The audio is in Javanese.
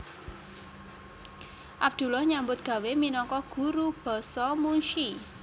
Abdullah nyambut gawé minangka guru basa munsyi